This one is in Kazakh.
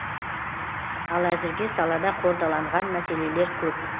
ал әзірге салада қордаланған мәселелер көп